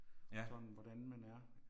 Sådan hvordan man er